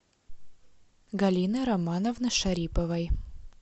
галины романовны шариповой